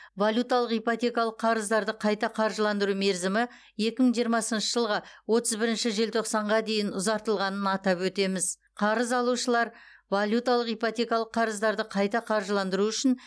валюталық ипотекалық қарыздарды қайта қаржыландыру мерзімі екі мың жиырмасыншы жылғы отыз бірінші желтоқсанға дейін ұзартылғанын атап өтеміз қарыз алушылар валюталық ипотекалық қарыздарды қайта қаржыландыру үшін